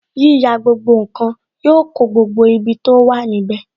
Yíyà gbogbo nkan yọ kó gbogbo ibi tó wà níbè